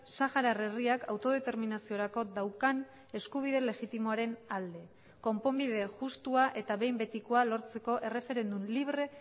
saharar herriak autodeterminaziorako daukan eskubide legitimoaren alde konponbide justua eta behin betikoa lortzeko erreferendum libre